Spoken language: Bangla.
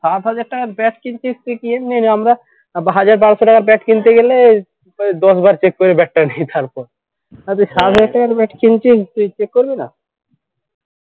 সাত হাজার টাকার bat কিনছিস তুই কিনবিই রে আমরা হাজার বারোশো টাকার bat কিনতে গেলে প্রায় দশ বার check করে bat টা নি তারপর আর তুই সাত হাজার টাকা দামের bat কিনছিস check করবি না